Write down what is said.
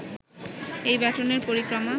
এই ব্যাটনের পরিক্রমা